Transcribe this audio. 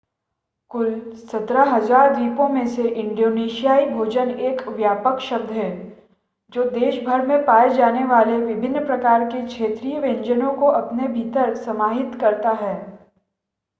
कुल 17,000 द्वीपों में से इंडोनेशियाई भोजन एक व्यापक शब्द है जो देश भर में पाए जाने वाले विभिन्न प्रकार के क्षेत्रीय व्यंजनों को अपने भीतर समाहित करता है